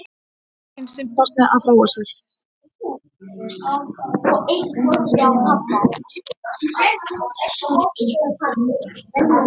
Kvenkyns simpansi að fróa sér.